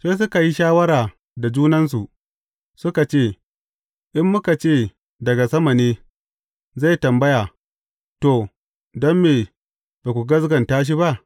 Sai suka yi shawara da junansu, suka ce, In muka ce, Daga sama ne,’ zai tambaya, To, don me ba ku gaskata shi ba?’